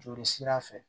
Joli sira fɛ